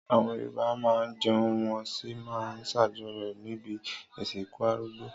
Àwọn Yorùbá máa ń jẹun wọ́n sì máa ń ṣàjọyọ̀ níbi ìsìnkú arúgbó.